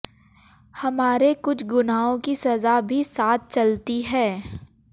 हमारे कुछ गुनाहों की सज़ा भी साथ चलती है